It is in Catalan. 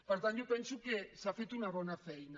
per tant jo penso que s’ha fet una bona feina